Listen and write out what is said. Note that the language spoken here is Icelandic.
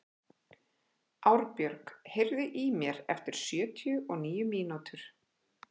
Árbjörg, heyrðu í mér eftir sjötíu og níu mínútur.